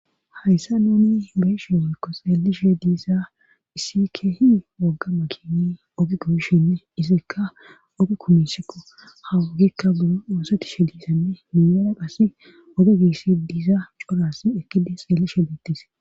Hayssa nuni be'eshe hoykko seelishe diissa issi keehi wogga makini ogikoshinne issika ogi kumisikko hawogekka buro ooseti she diisanne miyoona qasse ode giissi diisa coras ekkidi xeellishe beettis.